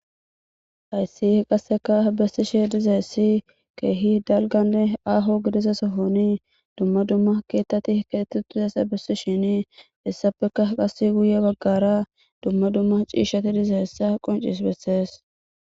Hayis qaseka besishe dizayis kehi daligane aho gadeza sohon duma duma kethati kexetizaysa besishin hesape qaska guye bagara duma duma cishati dizayisa qonicises